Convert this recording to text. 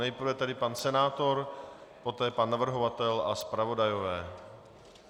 Nejprve tedy pan senátor, poté pan navrhovatel a zpravodajové.